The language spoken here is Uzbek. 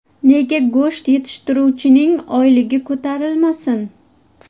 Nega go‘sht yetishtiruvchining oyligi ko‘tarilmasin?